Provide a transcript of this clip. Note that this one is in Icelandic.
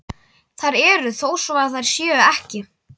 Þær eru þó svo þær séu ekki.